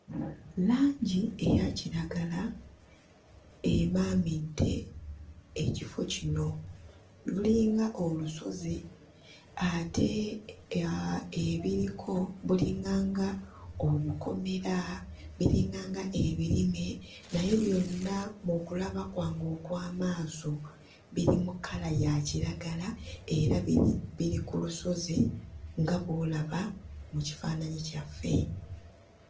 Langi eya kiragala emaamidde ekifo kino. Lulinga olusozi ate ebiriko bulinganga obukomera, biringanga ebirime naye byonna mu kulaba kwange okw'amaaso biri mu kkala ya kiragala era biri ku lusozi nga bw'olaba mu kifaananyi kyaffe.